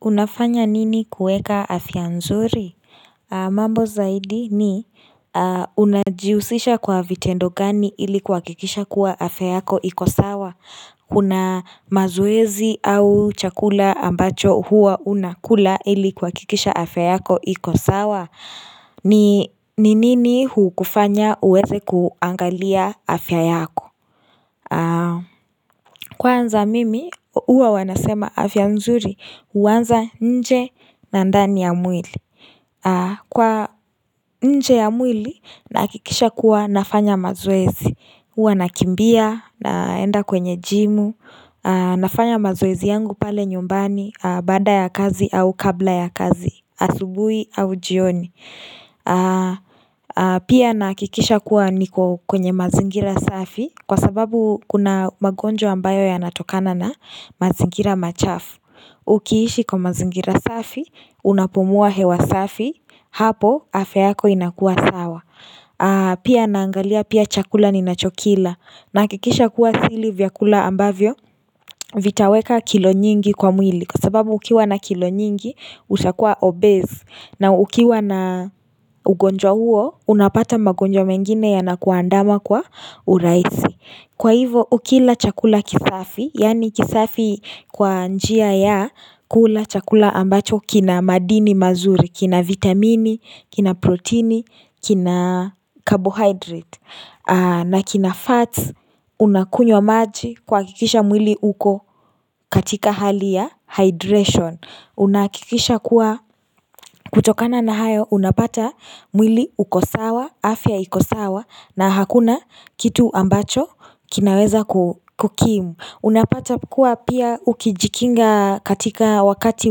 Unafanya nini kueka afya nzuri? Mambo zaidi ni Unajihusisha kwa vitendo gani ili kuhakikisha kuwa afya yako iko sawa? Kuna mazoezi au chakula ambacho huwa unakula ili kuhakikisha afya yako iko sawa? Ni ni nini hukufanya uweze kuangalia afya yako? Kwanza mimi, huwa wanasema afya nzuri, huanza nje na ndani ya mwili. Kwa nje ya mwili, nahakikisha kuwa nafanya mazoezi. Huwa nakimbia, naenda kwenye jimu, nafanya mazoezi yangu pale nyumbani, baada ya kazi au kabla ya kazi, asubuhi au jioni. Pia nahakikisha kuwa niko kwenye mazingira safi Kwa sababu kuna magonjwa ambayo yanatokana na mazingira machafu Ukiishi kwa mazingira safi Unapumua hewa safi Hapo afya yako inakuwa sawa Pia naangalia pia chakula ninachokila. Nahakikisha kuwa sili vyakula ambavyo Vitaweka kilo nyingi kwa mwili Kwa sababu ukiwa na kilo nyingi utakuwa obese. Na ukiwa na ugonjwa huo, unapata magonjwa mengine yanakuandama kwa urahisi. Kwa hivo, ukila chakula kisafi, yani kisafi kwa njia ya kula chakula ambacho kina madini mazuri, kina vitamini, kina proteini, kina carbohydrate, na kina fats, unakunywa maji kuhakikisha mwili uko katika hali ya hydration. Unahakikisha kuwa kutokana na hayo unapata mwili uko sawa afya iko sawa na hakuna kitu ambacho kinaweza kukimu. Unapata kuwa pia ukijikinga katika wakati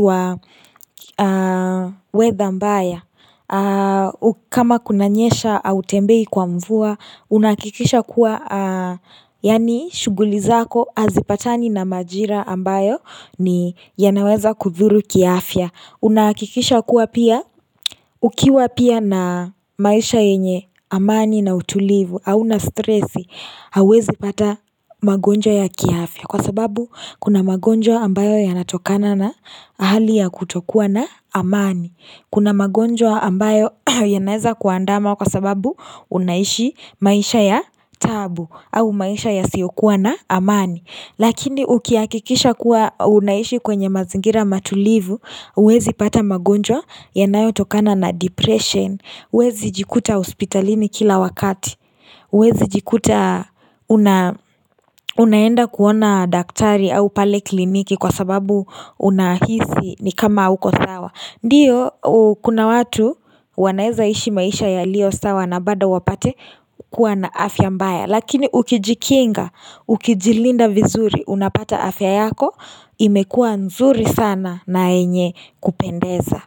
wa weather mbaya kama kunanyesha hautembei kwa mvua unahakikisha kuwa yaani shughuli zako hazipatani na majira ambayo ni yanaweza kudhuru kiafya. Unakikisha kuwa pia Ukiwa pia na maisha yenye amani na utulivu hauna stressi. Hauwezi pata magonjo ya kiafya. Kwa sababu kuna magonjwa ambayo yanatokana na hali ya kutokuwa na amani Kuna magonjwa ambayo yanaweza kuandama Kwa sababu unaishi maisha ya taabu au maisha yasiyokuwa na amani. Lakini ukihakikisha kuwa unaishi kwenye mazingira matulivu, huwezi pata magonjwa yanayotokana na depression. Huwezi jikuta hospitalini kila wakati huwezi jikuta unaenda kuona daktari au pale kliniki kwa sababu unahisi ni kama hauko sawa. Ndiyo kuna watu wanaeza ishi maisha yaliyo sawa na bado wapate kuwa na afya mbaya. Lakini ukijikinga ukijilinda vizuri unapata afya yako imekuwa nzuri sana na yenye kupendeza.